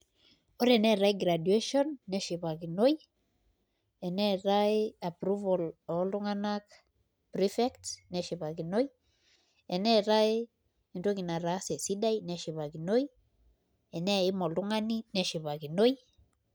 Ore eneetai graduation neshipai eneetai approval oltung'anak prefects neshipakinoi eneetai entoki nataase sidai neshipakinoi eneeim oltung'ani neshipakinoi.